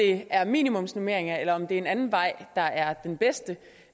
det er minimumsnormeringer eller om det er en anden vej der er den bedste